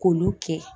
K'olu kɛ